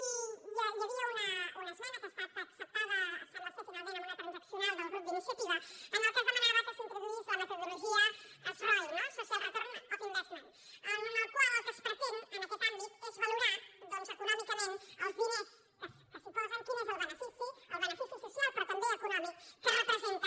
i hi havia una esmena que ha estat acceptada sembla finalment amb una transaccional del grup d’iniciativa en què es demanava que s’introduís la metodologia sroi no social return on investment amb la qual el que es pretén en aquest àmbit és valorar doncs econòmicament dels diners que s’hi posen quin és el benefici el benefici social però també econòmic que representa